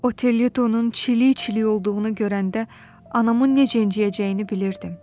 Oterluytonun çili-çili olduğunu görəndə anamın necə inciyəcəyini bilirdim.